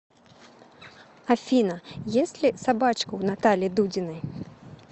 афина есть ли собачка у натальи дудиной